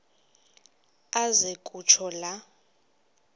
aze kutsho la